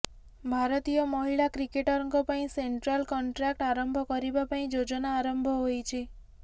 ଭାରତୀୟ ମହିଳା କ୍ରିକେଟରଙ୍କ ପାଇଁ ସେଣ୍ଟ୍ରାଲ୍ କଣ୍ଟ୍ରାକ୍ଟ ଆରମ୍ଭ କରିବା ପାଇଁ ଯୋଜନା ଆରମ୍ଭ ହୋଇଛି